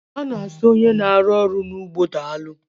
A na asị onye n'arụ ọrụ n'ugbo daalụ